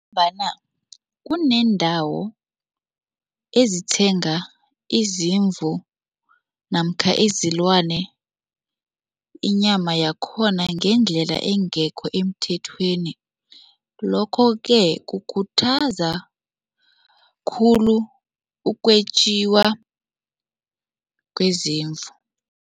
Ngombana kuneendawo ezithenga izimvu namkha izilwane, inyama yakhona ngendlela engekho emthethweni, lokho-ke kukhuthaza khulu ukwetjiwa kwezimvu.